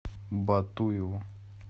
батуеву